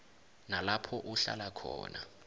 nalapho uhlala khona